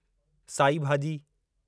साई भाॼी